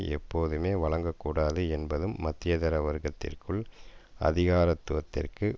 எப்போதுமே வழங்கக்கூடாது என்பதும் மத்தியதர வர்க்கத்திற்குள் அதிகாரத்துவத்திற்கு